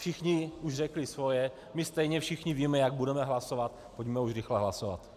Všichni už řekli svoje, my stejně všichni víme, jak budeme hlasovat, pojďme už rychle hlasovat.